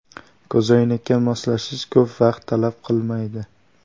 Ko‘zoynakka moslashish ko‘p vaqt talab qilmaydi.